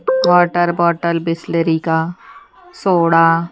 water बोतल बिसलेरी का soda--